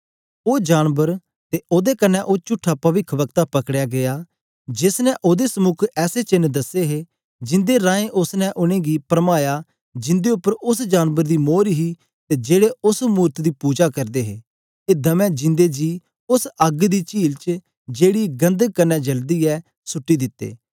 ओ जानबर ते ओदे कन्ने ओ चुट्ठा पविखवक्ता पकड़ेया गीया जेस ने ओदे समुक ऐसे चेन्न दसे हे जिंदे रहें उस्स ने उनेंगी गी परमाया जिंदे उपर उस्स जानबर दी मोर हे ते जेड़े उस्स मूरत दी पुजा करदे हे ए दमै जिंदे जी उस्स अग्ग दी चील च जेकी गंधक कन्ने जलदी ऐ सुट्टी दित्ते